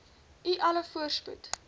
u alle voorspoed